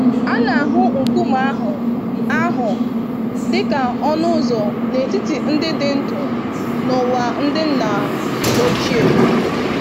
A na-ahụ nkume ahụ ahụ dị ka ọnụ ụzọ n'etiti ndị dị ndụ na ụwa ndị nna ochie.